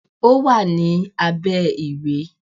Ó wà ní abẹ́ ìwé.